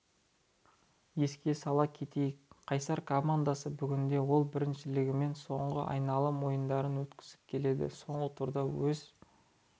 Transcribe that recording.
еске сала кетейік қайсар командасы бүгінде ел біріншілігінде соңғы айналым ойындарын өткізіп келеді соңғы турда өз